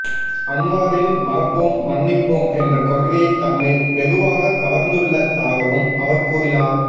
அன்வாரின் மறப்போம் மன்னிப்போம் என்ற கொள்கை தம்மை வெகுவாக கவர்ந்துள்ளதாகவும் அவர் கூறினார்